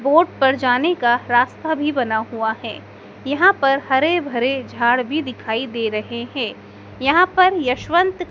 boat पर जाने का रास्ता भी बना हुआ है यहाँ पर हरे-भरे झाड़ भी दिखाई दे रहे हैं यहाँ पर यशवंत --